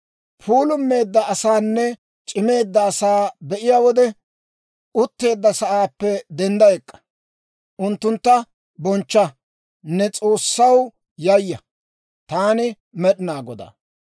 « ‹Puulummeedda asaanne c'imeedda asaa be'iyaa wode utteedda sa'aappe dendda ek'k'a; unttuntta bonchcha; ne S'oossaw yayya. Taani Med'inaa Godaa.